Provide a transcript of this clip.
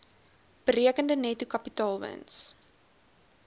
berekende netto kapitaalwins